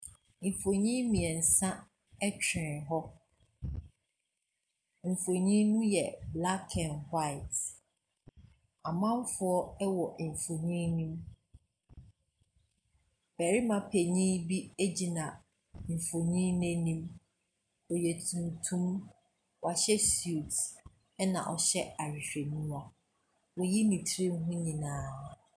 Mfonin mmiɛnsa twere hɔ, mfonin no yɛ black and white. Amamfo wɔ mfonin ne mu. Barima panin bi gyina mfonin no anim. Ɔyɛ tuntum, wahyɛ suit na ɔhyɛ ahwehwɛniwa, wayi ne ti ho nyinaa.